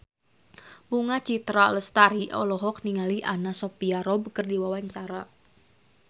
Bunga Citra Lestari olohok ningali Anna Sophia Robb keur diwawancara